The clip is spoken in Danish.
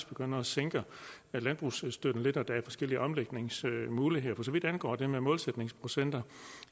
begynde at sænke landbrugsstøtten lidt og der er forskellige omlægningsmuligheder for så vidt angår det med målsætningsprocenter